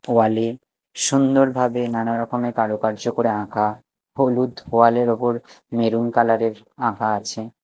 ওয়ালে -এ সুন্দরভাবে নানারকমের কারুকার্য করে আঁকা হলুদ ওয়ালের -এর ওপর মেরুন কালারের -এর আঁকা আছে।